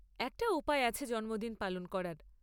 একটা উপায় আছে জন্মদিন পালন করার।